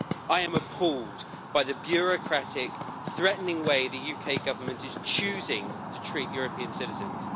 I am appalled by the bureaucratic and threatening way in which the UK Government is choosing to treat European citizens.